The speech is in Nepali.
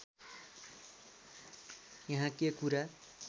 यहाँ के कुरा